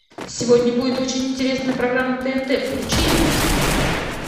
сегодня будет очень интересная программа на тнт включи его